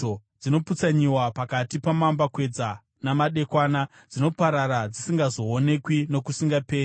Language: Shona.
Dzinoputsanyiwa pakati pamambakwedza namadekwana; dzinoparara dzisingazoonekwi nokusingaperi.